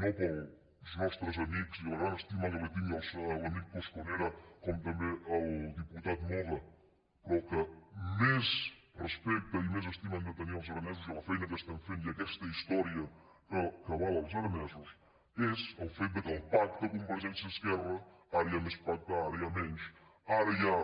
no pels nostres amics i la gran estima que li tinc a l’amic cosconera com tam·bé al diputat moga però que més respecte i més es·tima hem de tenir als aranesos i a la feina que estan fent i a aquesta història que avala els aranesos és el fet del pacte convergència·esquerra ara hi ha més pacte ara n’hi ha menys ara hi ha